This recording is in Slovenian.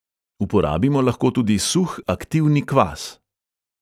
Uporabimo lahko tudi suh aktivni kvas.